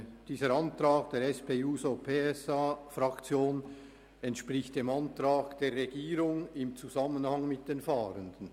Dieser Antrag der SP-JUSO-PSA-Fraktion entspricht dem Antrag der Regierung im Zusammenhang mit den Fahrenden.